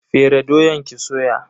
Fere doyan ki soya.